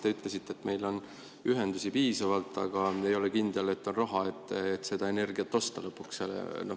Te ütlesite, et meil on ühendusi piisavalt, aga ei ole kindel, et on raha, et seda energiat osta lõpuks.